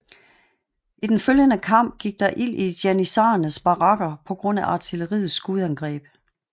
I den følgende kamp gik der ild i janitsharernes barakker på grund af artilleriets skudangreb